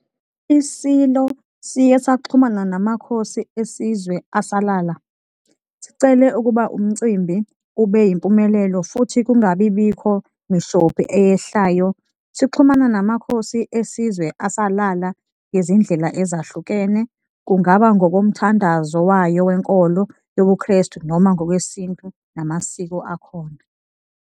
ISilo siye sixhumane naMakhosi esizwe asalala, sicele ukuba umcimbi ube yimpumelelo futhi kungabibikho mishophi eyehlayo sixhumana namakhosi esizwe asalala ngezindlela ezahlukene kungaba ngokomthandazo wayo wenkolo yobuKrestu noma ngokwesintu namasiko akhona.